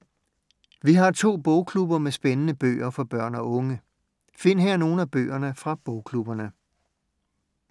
Vi har to bogklubber med spændende bøger for børn og unge. Find her nogle af bøgerne fra bogklubberne.